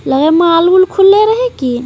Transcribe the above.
लग हइ माल उल खुले रहै की--